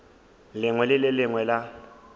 lengwe le le lengwe la